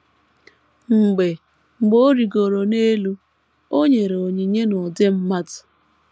“ Mgbe “ Mgbe ọ rịgoro n’elu..., o nyere onyinye n’ụdị mmadụ. ”